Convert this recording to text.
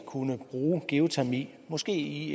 kunne bruge geotermi måske i